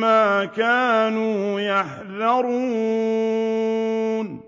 مَّا كَانُوا يَحْذَرُونَ